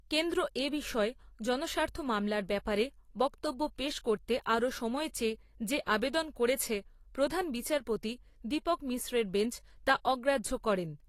কেন্দ্র এ বিষয়ে জনস্বার্থ মামলার ব্যাপারে বক্তব্য পেশ করতে আরও সময় চেয়ে যে আবেদন করেছে, প্রধান বিচারপতি দীপক মিশ্রের বেঞ্চ তা অগ্রাহ্য করেন।